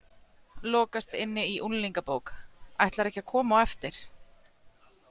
Lokast inni í unglingabók Ætlarðu ekki að koma á eftir?